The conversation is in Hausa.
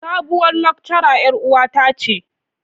Sabuwar lecturer yar uwata ce.